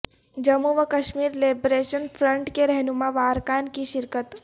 جموں وکشمیر liberation front کے رہنماء وارکان کی شرکت